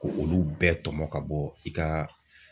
Ko olu bɛɛ tɔmɔ ka bɔ i ka